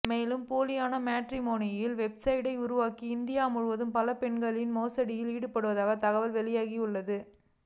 மேலும் போலியான மேட்ரிமோனியல் வெப்சைட்டை உருவாக்கி இந்தியா முழுவதும் பல பெண்களிடம் மோசடியில் ஈடுபட்டதாக தகவல் வெளியாகி உள்ளது